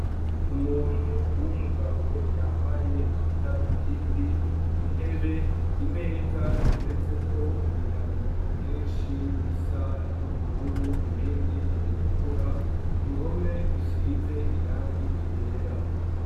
Umuntu w'umugabo yambaye amadaru bindi intebe imeza iteretse ko ibitabo vyinshi bisa n'ubururu ibindi ibitukura uruhome rusize irangi igera.